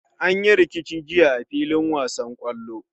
An yi rikici jiya a fillin wasan kwallo.